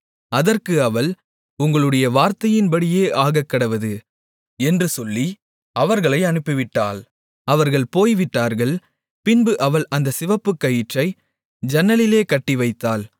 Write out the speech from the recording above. அதற்கு அவள் உங்களுடைய வார்த்தையின்படியே ஆகக்கடவது என்று சொல்லி அவர்களை அனுப்பிவிட்டாள் அவர்கள் போய்விட்டார்கள் பின்பு அவள் அந்த சிவப்புக்கயிற்றை ஜன்னலிலே கட்டிவைத்தாள்